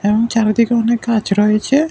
এবং চারিদিকে অনেক গাছ রয়েছে।